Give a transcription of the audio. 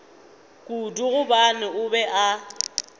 kudu gobane o be a